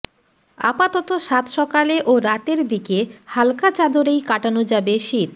আপাতত সাত সকালে ও রাতের দিকে হাল্কা চাদরেই কাটানো যাবে শীত